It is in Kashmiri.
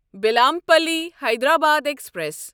بیلمپلی حیدرآباد ایکسپریس